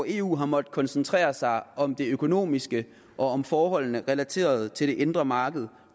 eu har måttet koncentrere sig om det økonomiske og forholdene relateret til det indre marked